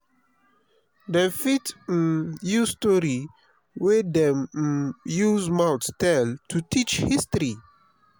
dem fit um use story wey dem um use mouth tell to teach history.